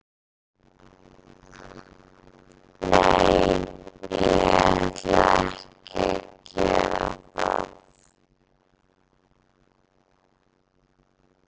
Nei, ég ætla ekki að gera það.